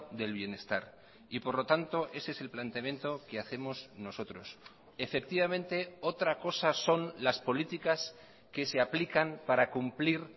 del bienestar y por lo tanto ese es el planteamiento que hacemos nosotros efectivamente otra cosa son las políticas que se aplican para cumplir